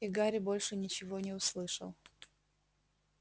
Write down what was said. и гарри больше ничего не услышал